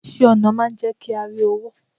iṣẹ ọnà n jé kí a ri owo